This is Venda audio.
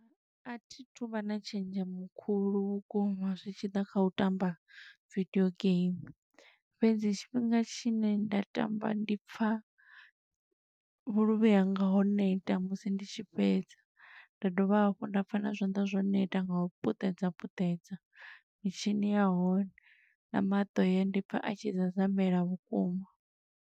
A thi thu vha na tshenzhemo khulu vhukuma zwi tshi ḓa kha u tamba vidio game. Fhedzi tshifhinga tshine nda tamba ndi pfa vhuluvhi hanga ho neta musi ndi tshi fhedza, nda dovha hafhu nda pfa na zwanḓa zwo neta nga u puṱedza puṱedza mitshini ya hone, na maṱo haya ndi pfa a tshi zazamela vhukuma.